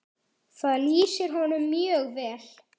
Það lýsir honum mjög vel.